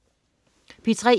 P3: